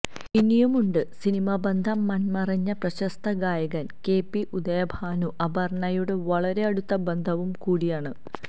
ഇനിയും ഉണ്ട് സിനിമ ബന്ധം മൺമറഞ്ഞ പ്രശസ്ത ഗായകൻ കെ പി ഉദയഭാനു അപർണ്ണയുടെ വളരെ അടുത്ത ബന്ധുവും കൂടിയാണ്